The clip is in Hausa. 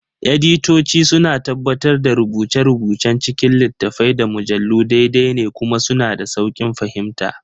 Editoci suna tabbatar da rubuce-rubucen cikin littattafai, da mujallu daidai ne kuma suna da sauƙin fahimta.